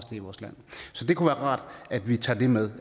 til i vores land så det kunne være rart at vi tager det med